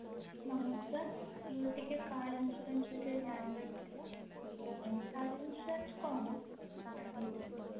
ନମସ୍କାର ମୋର ଟିକେ car insurance ବିଷୟରେ ଜାଣିବାର ଥିଲା car insurance କଣ ଜାଣିବାରେ ଥିଲା